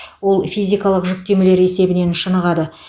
ол физикалық жүктемелер есебінен шынығады